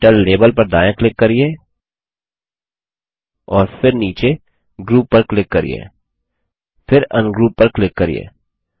title label पर दायाँ click करिये और फिर नीचे ग्रुप पर क्लिक करिये फिर अनग्रुप पर क्लिक करिये